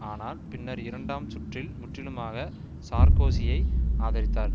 ஆனால் பின்னர் இரண்டாம் சுற்றில் முற்றிலுமாக சார்க்கோசியை ஆதரித்தார்